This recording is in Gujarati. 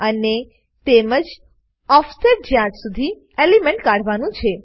અને તેમજ ઓફસેટ જ્યાં શુધી એલિમેન્ટ કાઢવાનું છે